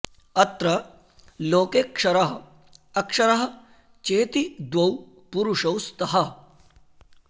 अत्र लोके क्षरः अक्षरः चेति द्वौ पुरुषौ स्तः